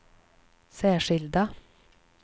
särskilda